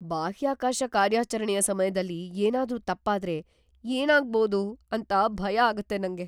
ಬಾಹ್ಯಾಕಾಶ ಕಾರ್ಯಾಚರಣೆಯ ಸಮಯ್ದಲ್ಲಿ ಏನಾದ್ರೂ ತಪ್ಪಾದ್ರೆ ಏನಾಗ್ಬೋದು ಅಂತ ಭಯ ಆಗತ್ತೆ ನಂಗೆ.